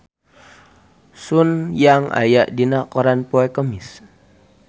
Sun Yang aya dina koran poe Kemis